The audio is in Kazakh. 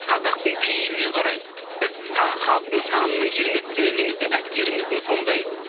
қазақтың пейіліне қарай біз халықтың санының кереметтігінен немесе әскеріміздің сондай